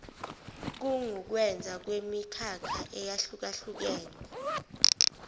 kungukwenza kwemikhakha eyehlukahlukene